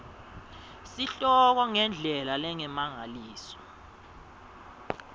sihloko ngendlela lengemalengiso